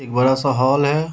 एक बड़ा-सा हॉल है।